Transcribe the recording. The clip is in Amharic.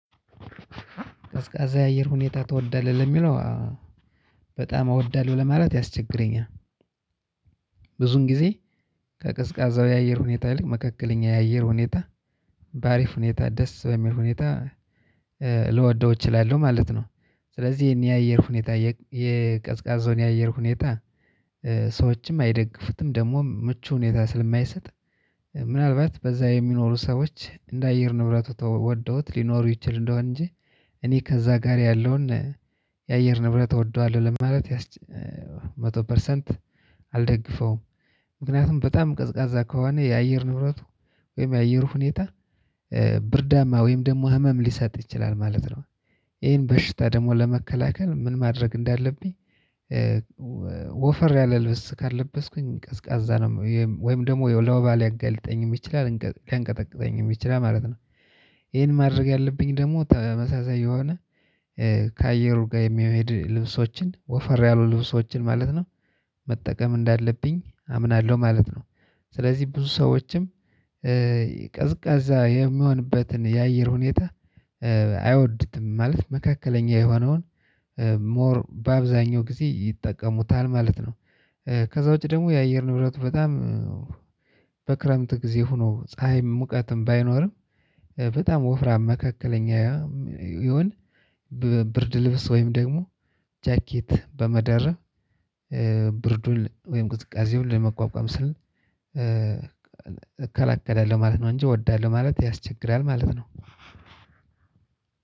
ቀዝቃዛ የአየር ሁኔታ ትወዳለህ ለሚለው በጣም አወዳለው ለማለት ያስቸግረኛል። ብዙን ጊዜ ከቀዝቃዛው የአየር ሁኔታ ይልቅ መካከለኛ የአየር ሁኔታ በአሪፍ ሁኔታ ደስ በሚል ሁኔታ ልወደው እችላለሁ ማለት ነው። ስለዚህ እኔ የአየር ሁኔታ የቀዝቃዛው የአየር ሁኔታ ሰዎችም አይደግፉትም ደግሞም ምቹ ሁኔታ ስለማይሰጥ። ምናልባት በዛ የሚኖሩ ሰዎች እንደ አየር ንብረቱ ተወደውት ሊኖሩ ይችል እንደሆን እንጂ። እኔ ከዛ ጋር ያለውን የአየር ንብረት እወደዋለሁ ለማለት መቶ ፐርሰንት አልደግፈውም። ምክንያቱም በጣም ቀዝቃዛ ከሆነ የአየር ንብረቱ ወይም የአየሩ ሁኔታ ብርዳማ ወይም ደግሞ ህመም ሊሰጥ ይችላል ማለት ነው። እሄም በሽታ ደግሞ ለመከላከል ምን ማድረግ እንዳለብኝ? ወፈር ያለ ልብስ ካልለበስኩኝ ቀዝቃዛ ነው ወይም ደግሞ ለወባ ሊያገለጠኝም ይችላል ሊያንቀጠቅጠኝም ይችላል ማለት ነው። ይሄን ማድረግ ያለብኝ ደግሞ ተመሳሳይ የሆነ ከአየሩ ጋር የሚሄድ ልብሶችን ወፈር ያሉ ልብሶችን ማለት ነው መጠቀም እንዳለብኝ አምናለሁ ማለት ነው። ስለዚህ ብዙ ሰዎችም ቀዝቃዛ የሚሆንበትን የአየር ሁኔታ አይወዱትም ማለት መካከለኛ የሆነውን ሞር በአብዛኛው ጊዜ ይጠቀሙታል ማለት ነው። ከዛ ውጪ ደግሞ የአየር ንብረቱ በጣም ክረምት ግዜ ሁኖ ጻሃይም ሙቃትም ባይኖርም በጣም ወፍራም መካከለኛ ይሁን። ብርድልብስ ወይም ደግሞ ጃከት በመደረብ ብርዱን ወይም ቅዝቃዜውን ለመቋቋም ስል እከላከላለሁ ማለት ነው እንጂ እወዳለሁ ማለት ያስቸግራል ማለት ነው።